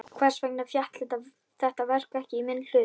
Hvers vegna féll þetta verk ekki í minn hlut?